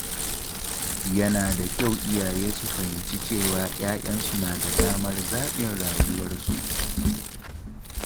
Yana da kyau iyaye su fahimci cewa ‘ya‘yansu na da damar zaɓin rayuwarsu.